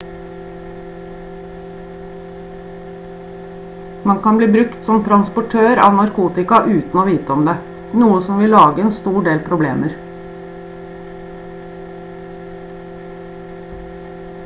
man kan bli brukt som transportør av narkotika uten å vite om det noe som vil lage en stor del problemer